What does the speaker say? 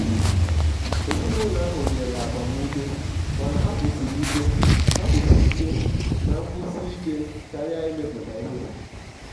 ezinụlọ ahụ nyere agbamume mana ha kwusiri ike ha kwusiri ike na nkwusi ike karia imepụta ihe.